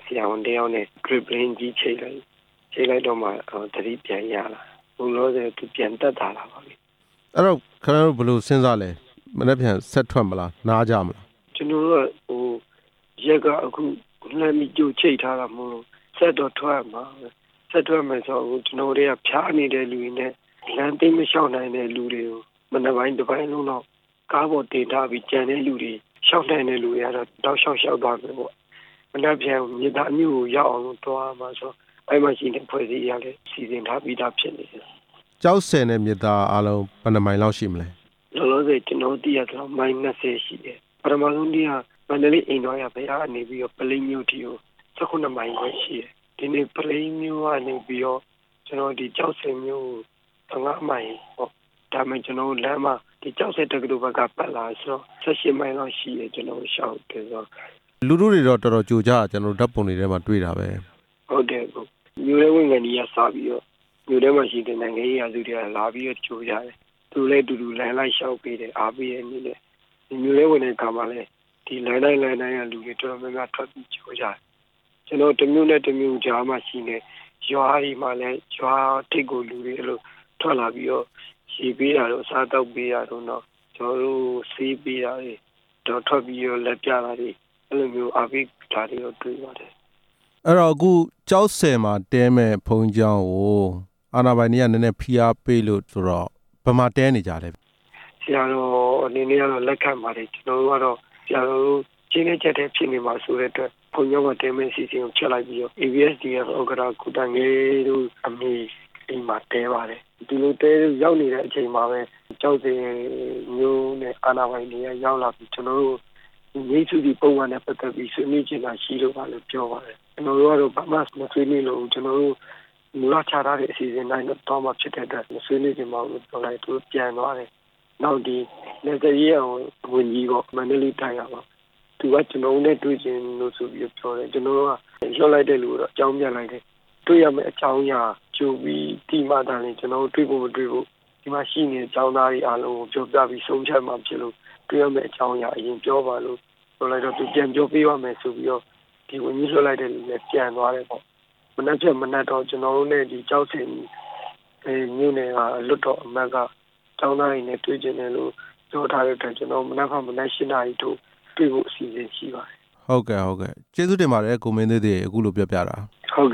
ဆရာဝန်တစ်ယောက်နဲ့ ပလင်းကြီးချိတ်လိုက်တော့မှ သတိပြန်ရလာတာ၊ အခုလောလောဆယ် သူပြန်သက်သာလာပါပြီ။ အဲ့ဒီတော့ ခင်ဗျားတို့ဘယ်လိုစဉ်းစားလဲ၊ မနက်ဖြန်ဆက်ထွက်မလား နားကြမလား။ ကျနော်တို့ကတော့ ရက်ကအခု လှမ်းပြီးကြိုချိတ်ထားတာမို့လို့ ကျနော်တို့ဆက်ပြီးထွက်ရမှာပဲ၊ ဆက်ထွက်မယ်ဆိုတော့ အခုကျနော်တို့အထဲက ဖျားနေတဲ့လူတွေနဲ့ လမ်းသိပ်မလျှောက်နိုင်တဲ့လူတွေကို မနက်ပိုင်း တပိုင်းလုံးလောက်ကားပေါ်တင်ထားပြီး ကျန်တဲ့လူတွေ လျှောက်နိုင်တဲ့လူတွေကတော့ တောက်လျှောက်လျှောက်သွားမယ်ပေါ့၊ မနက်ဖြန်မြစ်သားမြို့ကိုရောက်အောင်လို့ သွားရမှာဆိုတော့ အဲ့ဒီမှာရှိတဲ့အဖွဲ့တွေကလည်း စီစဉ်ထားပြီးသားဖြစ်နေတယ်။ ကျောက်ဆည်နဲ့ မြစ်သားမြို့ အားလုံးဘယ်နှစ်မိုင်လောက်ရှိမလဲ။ လောလောဆယ် ကျနော်တို့သိရသလောက် မိုင် ၂ဝ ရှိတယ်၊ ပထဆုံးနေ့က မန္တလေး အိမ်တော်ရာဘုရားကနေပြီးတော့ ပလိပ်မြို့အထိကို ၁၇ မိုင်ခွဲရှိတယ်၊ ပလိပ်မြို့ကနေပြီးတော့ ကျောက်ဆည်မြို့ကို ၁၅ မိုင်ပေါ့၊ ဒါပေမဲ့ ကျနော်တို့ လမ်းမှာကျောက်ဆည်ဘက်က ပတ်လာတယ်ဆိုတော့ ၁၈ မိုင်လောက်ရှိတယ် ကျနော်တို့ လျှောက်တယ်ပေါ့။ လူထုတွေတော့ တော်တော်ကြိုကြတာ ဓါတ်ပုံထဲတွေမှာတွေ့တာပဲ။ ဟုတ်တယ် အစ်ကို၊ မြို့ထဲဝင်ခါနီးကစပြီးတော့ မြို့ထဲမှာရှိတဲ့ နိုင်ငံရေးလူတစ်ချို့က လာပြီးတော့ကြိုကြတယ်၊ သူတို့လည်းအတူူတူ လမ်းလိုက်လျှောက်ပေးတယ်၊ အားပေးတယ်ပေါ့၊ မြို့ထဲဝင်တဲ့အခါမှာလည်း ဒီလမ်းတိုင်းလမ်းတိုင်းက လူတွေတော်တော်များများ ထွက်ပြီးကြိုကြတယ်၊ ကျနော်တို့ တစ်မြို့နဲ့ တစ်မြို့ကြားမှာရှိတဲ့ ရွာတွေမှာလည်း ရွာထိပ်ကိုလူတွေထွက်လာပြီးတော့ ရေပေးတာတို့ အစားအသောက်ပေးတာတို့ ကျနော်တို့ကို ဆေးပေးတာတွေ၊ ထွက်ပြီးတော့ လက်ပြတာတွေ အဲ့လိုတော့ အားပေးတာတွေတေ့ွပါတယ်။ အခုကျောက်ဆည်မှာတည်းမယ့် ဘုန်းကြီးကျောင်းကို အာဏာပိုင်တွေက နည်းနည်းဖိအားပေးလို့ဆိုတော့ ဘယ်မှာတည်းနေကြလဲ။ ဆရာတော်အနေနဲ့တော့ လက်ခံပါတယ်၊ ကျနော်တို့ကတော့ ဆရာတော် အကျဉ်းထဲအကျပ်ထဲ ဖြစ်နေမှာစိုးတဲ့အတွက် လုန်းကြီးကျောင်းမှာတည်းမဲ့ အစီအစဉ်ကို ဖျက်လိုက်ပြီးတော့ ABSDF ဥက္ကဌ ကိုသံခဲတို့အမေအိမ်မှာ တည်းပါတယ်၊ ဒီကိုရောက်နေတဲ့အချိန်မှာပဲ ကျောက်ဆည်မြို့နယ် အာဏာပိုင်တွေက ရောက်လာပြီး ကျနော်တို့ကို ငြိမ်းစုစီပုဒ်မနဲ့ ပတ်သက်ပြီး ဆွေးနွေးချင်တာရှိလို့ပါလို့ ပြောပါတယ်၊ ကျနော်တို့ကတော့ ဘာမှမဆွေးနွေးလိုဘူး၊ ကျနော်တို့ မူလချထားတဲ့ အစီအစဉ်အတိုင်း သွားမှာဖြစ်တဲ့အတွက် မဆွေးနွေးလိုပါဘူးလို့ ပြောလိုက်တော့ သူတို့ပြန်သွားတယ်၊ နောက်နယ်စပ်ရေးရာဝန်ကြီးပေါ့ မန္တလေးတိုင်းကပါ သူကကျနော်တို့နဲ့ တွေ့ချင်တယ်လို့ ဆိုပြီးပြောတယ်၊ ကျနော်တို့က လွှတ်လိုက်တဲ့လူကို အကြောင်းပြန်လိုက်တယ်၊ တွေ့ရမယ့် အကြော်းရင်းကသာ ကြိုပြီးသိရမှ တွေ့သင့်မတွေ့သင့် ကျနော်တို့ ဒီမှာရှိနေတဲ့ ကျောင်းသားတွေအားလုံးကို ပြောပြပြီးဆုံးဖြတ်မှာဖြစ်လို့ တွေ့ရမယ့်အကြောင်းအရာ အရင်ပြောပါလို့ ပြောလိုက်တော့ သူပြန်ပြောပေးပါ့မယ်ဆိုပြီးတော့ ဝန်ကြီးလွှတ်လိုက်တဲ့လူလည်း ပြန်သွားတယ်ပေါ့၊ မနက်ဖြန်မနက်တော့ ကျနော်တို့နဲ့ ကျောက်ဆည်မြို့နယ်က လွှတ်တော်က ကျောင်းသားတွေနဲ့ တွေ့ချင်တယ်လို့ ပြောထားတဲ့အတိုင်း ကျနော်တို့ မနက်ဖြန်မနက် ၈ နာရီထိုးတွေ့ဖို့ရှပါတယ်။ ဟုတ်ကဲ့ ကိုမင်းသွေးသစ်ရေ အခုလိုပြောပြတာ။ ဟုတ်